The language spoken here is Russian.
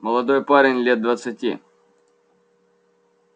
молодой парень лет двадцати